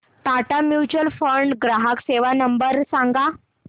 Tata mutual fund ग्राहक सेवा number सांगा